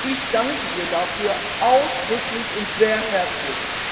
Ich danke ihr dafür ausdrücklich und sehr herzlich.